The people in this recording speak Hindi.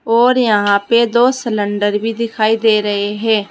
और यहां पे दो सलेंडर भी दिखाई दे रहे हैं।